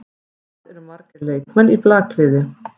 Hvað eru margir leikmenn í blakliði?